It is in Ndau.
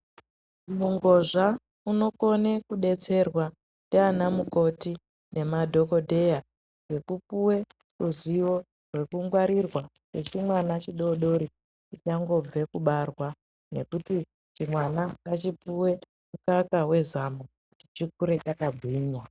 Murozva unokona kudetserwa ndianamukoti nemadhokodheya ngekupuwe ruzivo rwekungwarirwa kwechimwana chidodori chichangobve kubarwa ngekuti chimwana ngachipuwe mukaka wezamo chikure chakagwinya.